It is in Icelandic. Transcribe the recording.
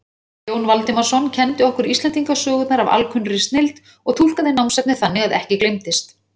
Jón Valdimarsson kenndi okkur Íslendingasögurnar af alkunnri snilld og túlkaði námsefnið þannig að ekki gleymdist.